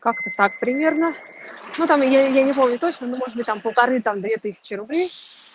как-то так примерно ну там я я не помню точно ну может быть там полторы там две тысячи рублей